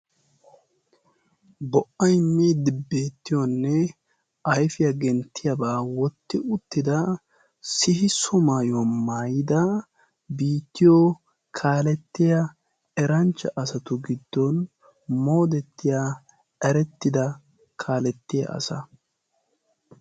bo"ay miidi beettiyoonne ayfiyaa genttiyaabaa wotti uttida sihi so maayuwaa maayida biittiyo kaalettiya eranchcha asatu giddon moodettiya arettida kaalettiya asa.